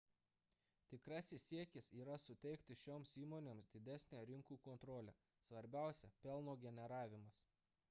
tikrasis siekis yra suteikti šioms įmonėms didesnę rinkų kontrolę svarbiausia – pelno generavimas